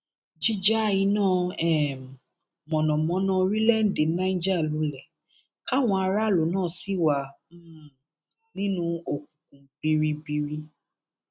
jíja iná um mọnàmọná orílẹèdè niger lulẹ káwọn aráàlú náà sì wà um nínú òkùnkùn biribiri